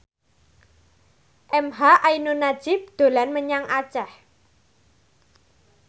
emha ainun nadjib dolan menyang Aceh